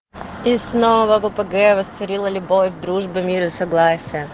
и снова попуге восцарила любовь дружба мир и согласие